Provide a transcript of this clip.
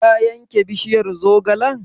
Ka yanke bishiyar zogalen?